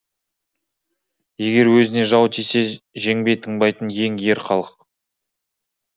егер өзіне жау тисе жеңбей тынбайтын ең ер халық